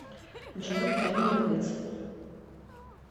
джой кем мне быть